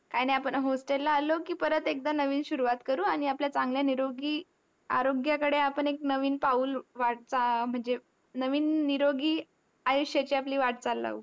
काय नाय, आपण hostel ला आलो की, परत एकदा नवीन सुरुवात करू आणि आपल्या चांगल्या निरोगी आरोग्याकडे आपण एक नवीन पाऊल वाटचा म्हणजे नवीन निरोगी आयुष्याची आपली वाटचाल लावू.